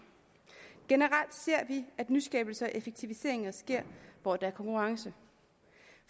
generelt ser vi at nyskabelser og effektiviseringer sker hvor der er konkurrence